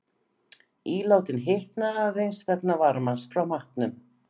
Ílátin hitna aðeins vegna varmans frá matnum.